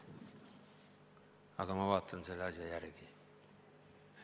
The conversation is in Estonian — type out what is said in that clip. Aga ma vaatan selle asja järele.